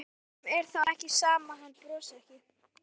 Hverjum er þá ekki sama að hann brosi ekki?